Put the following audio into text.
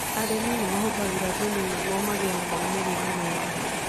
Arĩmi nĩ mahũtagĩra thumu nĩuo mĩmera maũmĩrĩra mea.